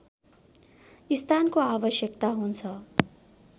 स्थानको आवश्यकता हुन्छ